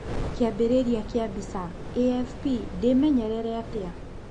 Kĩambĩrĩria kĩa mbica, AFP ndĩmenyerere atĩa?